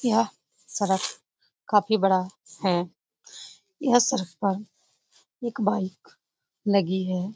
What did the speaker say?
यह सड़क काफी बड़ा है यह सड़क का एक बाइक लगी है ।